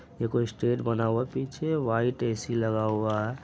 ये कोई स्टेज बना हुआ है पीछे वाईट एसी लगा हुआ है।